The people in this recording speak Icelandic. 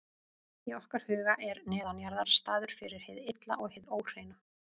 Í okkar huga er neðanjarðar staður fyrir hið illa og hið óhreina.